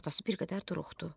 Atası bir qədər duruxdu.